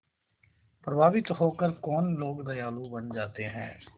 प्रभावित होकर कौन लोग दयालु बन जाते हैं